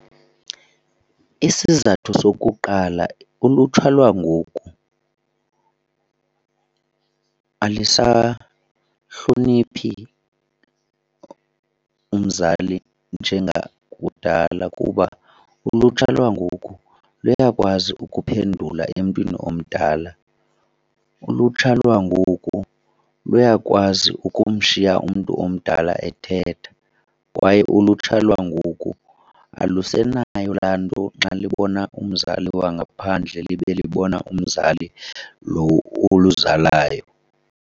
Isizathu sokuqala, ulutsha lwangoku alisahloniphi umzali njengakudala kuba ulutsha lwangoku luyakwazi ukuphendula emntwini omdala, ulutsha lwangoku luyakwazi ukumshiya umntu omdala ethetha kwaye ulutsha lwangoku alusenayo laa nto xa libona umzali wangaphandle libe libona umzali lo oluzalayo.